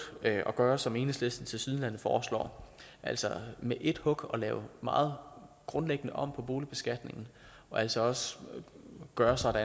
at gøre som enhedslisten tilsyneladende foreslår altså med ét hug at lave meget grundlæggende om på boligbeskatningen og altså også gøre sådan